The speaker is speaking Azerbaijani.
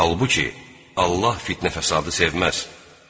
Halbuki, Allah fitnə-fəsadı sevməz.